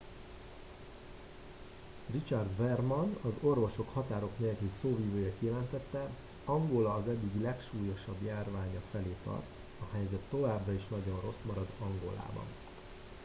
richard veerman az orvosok határok nélkül szóvivője kijelentette angola az eddigi legsúlyosabb járványa felé tart a helyzet továbbra is nagyon rossz marad angolában